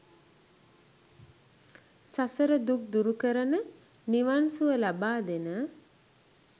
සසර දුක් දුරු කරන, නිවන් සුව ලබාදෙන